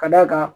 Ka d'a kan